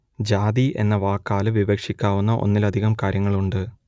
ജാതി എന്ന വാക്കാൽ വിവക്ഷിക്കാവുന്ന ഒന്നിലധികം കാര്യങ്ങളുണ്ട്